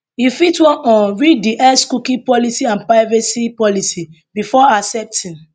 you fit wan um read di x cookie policy and privacy policy before accepting